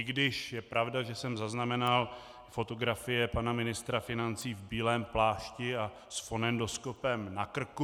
I když je pravda, že jsem zaznamenal fotografie pana ministra financí v bílém plášti a s fonendoskopem na krku.